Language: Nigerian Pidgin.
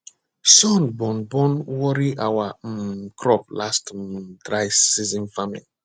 sun burn burn worry our um crop last um dry season farming